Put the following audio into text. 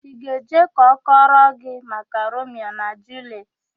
Ị ga-eje ka ọ kọrọ gị maka Romio na Juliet?